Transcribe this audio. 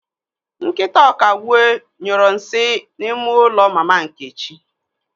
Nkịta Ọkagbue nyuru nsị n'ime ụlọ Mama Nkechi.